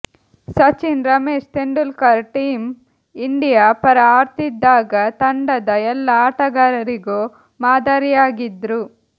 Sachin Ramesh Tendulkar team India ಪರ ಆಡ್ತಿದ್ದಾಗ ತಂಡದ ಎಲ್ಲ ಆಟಗಾರರಿಗೂ ಮಾದರಿಯಾಗಿದ್ರು